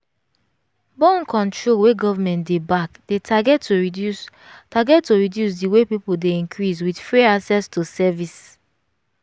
born control wey government dey back dey target to reduce target to reduce the way people dey increasewith free access to service